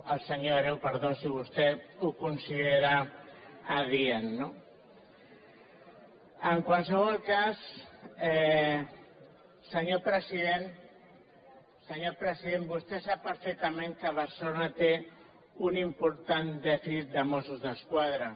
al senyor hereu perdó si vostè ho considera adient no en qualsevol cas senyor president senyor president vostè sap perfectament que barcelona té un important dèficit de mossos d’esquadra